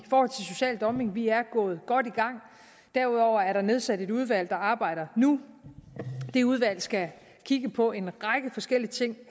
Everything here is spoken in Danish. for social dumping vi er godt i gang derudover er der nedsat et udvalg der arbejder nu det udvalg skal kigge på en række forskellige ting